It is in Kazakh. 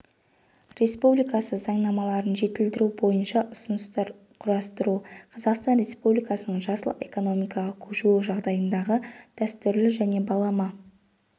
республикасы заңнамаларын жетілдіру бойынша ұсыныстар құрастыру қазақстан республикасының жасыл экономикаға көшуі жағдайындағы дәстүрлі және балама